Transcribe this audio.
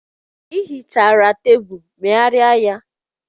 Ị hichara tebụlụ, megharịa ya!